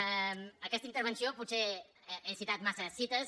en aquesta intervenció potser he citat massa cites